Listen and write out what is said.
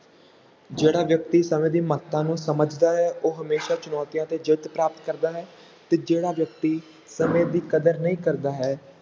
ਜਿਹੜਾ ਵਿਅਕਤੀ ਸਮੇਂ ਦੀ ਮਹੱਤਤਾ ਨੂੰ ਸਮਝਦਾ ਹੈ ਉਹ ਹਮੇਸ਼ਾ ਚੁਣੌਤੀਆਂ ਤੇ ਜਿੱਤ ਪ੍ਰਾਪਤ ਕਰਦਾ ਹੈ, ਤੇ ਜਿਹੜਾ ਵਿਅਕਤੀ ਸਮੇਂ ਦੀ ਕਦਰ ਨਹੀਂ ਕਰਦਾ ਹੈ,